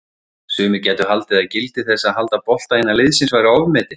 Sumir gætu haldið að gildi þess að halda bolta innan liðsins væri ofmetið?